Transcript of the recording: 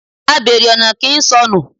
Abère ọna ki ń sọnú